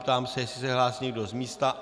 Ptám se, jestli se hlásí někdo z místa.